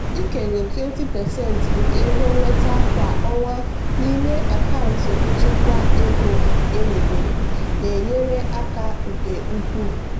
ịkenye 20% nke ego nnweta kwa ọnwa n'ime akaụntụ nchekwa ego emebere na-enyere aka nke ukwuu.